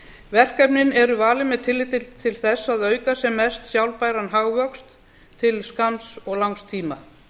verkefnin eru valin með tilliti til þess að auka sem mest sjálfbæran hagvöxt til skamms og langs tíma